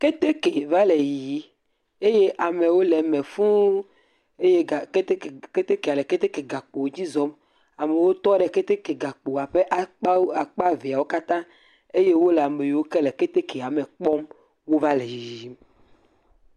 Keteke vale yiyi eye amewo le me fuũ. Eye keteke keteke le gakpo dzi zɔm. Amewo tɔ ɖe keteke gakpoawo ƒe akpa eveawo kataã. Eye wole ame yiwo ke le ketekea me kpɔm wova ke yiyim.